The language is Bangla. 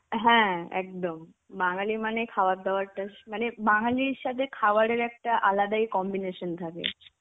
হ্যাঁ একদম. বাঙালি মানে খাবার দাবারটা মানে বাঙালির সাথে খাবারের একটা আলাদাই combination থাকে.